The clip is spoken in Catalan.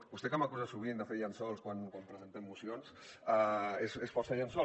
vostè que m’acusa sovint de fer llençols quan presentem mocions és força llençol